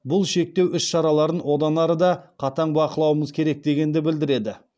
бұл шектеу іс шараларын одан ары да қатаң бақылауымыз керек дегенді білдіреді